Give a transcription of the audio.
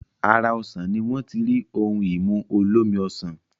Ara osàn ni wọ́n ti rí ohun-ìmu olómi ọsàn